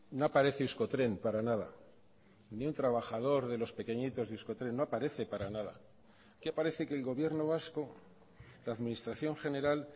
no aparece euskotren para nada ningún trabajador de los pequeñitos de euskotren no aparece para nada aquí aparece el gobierno vasco la administración general